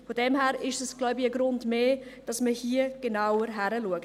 Von daher ist es wohl ein Grund mehr, dass man hier genauer hinschaut.